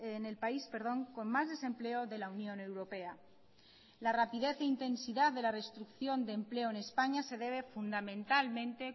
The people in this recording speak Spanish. en el país con más desempleo de la unión europea la rapidez e intensidad de la destrucción de empleo en españa se debe fundamentalmente